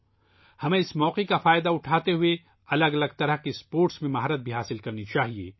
ہمیں اس موقع سے فائدہ اٹھاتے ہوئے مختلف قسم کے کھیلوں میں مہارت حاصل کرنی چاہیے